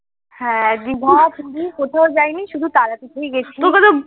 হ্যাঁ দীঘা পুরি কোথাও যায়নি শুধু তারাপীঠে গেছি